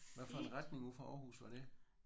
Hvad for en retning ud fra Aarhus var det?